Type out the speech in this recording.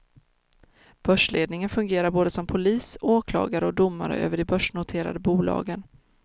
Börsledningen fungerar både som polis, åklagare och domare över de börsnoterade bolagen.